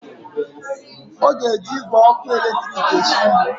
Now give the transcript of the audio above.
Ọ ga-eji igwe ọkụ eletrik esi nri